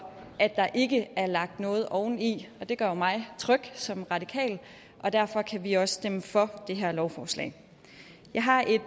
at der ikke er lagt noget oveni og det gør mig tryg som radikal derfor kan vi også stemme for det her lovforslag jeg har et